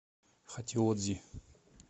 хатиодзи